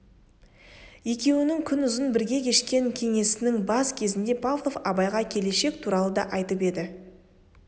екеуінің күнұзын бірге кешкен кеңесінің бас кезінде павлов абайға келешек туралы да айтып еді